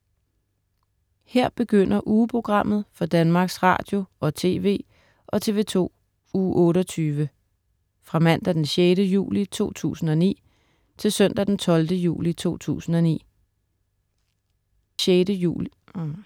Her begynder ugeprogrammet for Danmarks Radio- og TV og TV2 Uge 28 Fra Mandag den 6. juli 2009 Til Søndag den 12. juli 2009